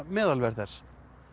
meðalverð þess